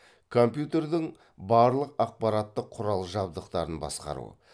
компьютердің барлық аппараттық құрал жабдықтарын басқару